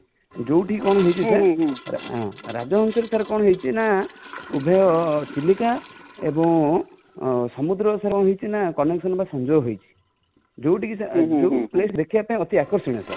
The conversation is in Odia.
ଯଉଠି କଣ ହେଇଛି sir ହଁ ରାଜହଂସ ରେ sir କଣ ହେଇଛି ନା ଉଭୟ ଚିଲିକା ଏବୁଁ ସମୁଦ୍ର ର ସେଟା ହେଇଛି ନା connection ବା ସଂଯୋଗ ହେଇଛି |ଯଉଠି କ, ଯୋଉ place ଦେଖିବା ପାଇଁ ବହୁତ ଆକର୍ଷଣୀୟ sir